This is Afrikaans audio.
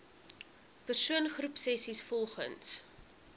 persoon groepsessies volgens